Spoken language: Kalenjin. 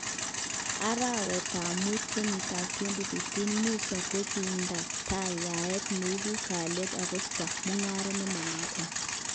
Arawet tab mut kenyitab 2015,Musa kokinda tai yaet neibu kalyet akosto mungaret nemonoton.